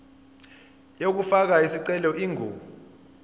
yokufaka isicelo ingu